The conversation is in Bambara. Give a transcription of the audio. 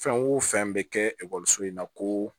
Fɛn o fɛn bɛ kɛ ekɔliso in na ko